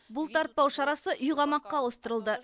бұлтартпау шарасы үй қамаққа ауыстырылды